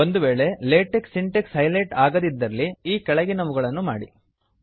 ಒಂದು ವೇಳೆ LaTeX syntax highlight ಆಗಿಲ್ಲದಿದ್ದರೆ ಈ ಕೆಳಗಿನವುಗಳನ್ನು ಮಾಡಿ